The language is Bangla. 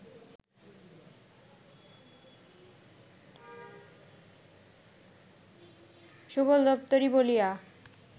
সুবল দুত্তোরি বলিয়া